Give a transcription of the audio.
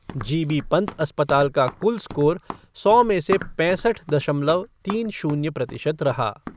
जी बी पन्त अस्पताल का कुल स्कोर सौ में से पैंसठ दशमलव तीन शून्य प्रतिशत रहा।